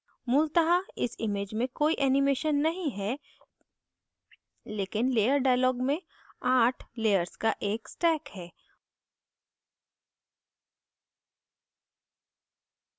मूलतः इस image में कोई animation नहीं है लेकिन layer dialog में आठ layers का एक stack है